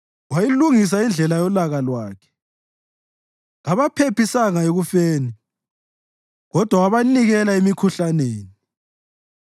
Wayilungisa indlela yolaka lwakhe; kabaphephisanga ekufeni kodwa wabanikela emikhuhlaneni.